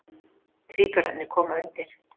Tvíburarnir koma undir.